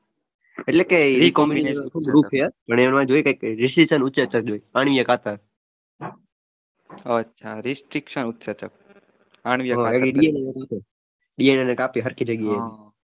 એટલે કે